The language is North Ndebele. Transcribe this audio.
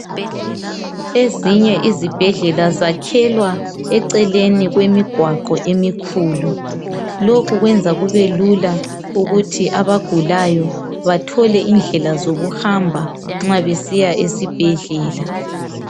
Ezinye izibhedlela zakhelwa eceleni kwemigwaqo emikhulu. Lokhu kwenza kubelula ukuthi abagulayo bathole indlela zokuhamba nxa besiya esibhedlela.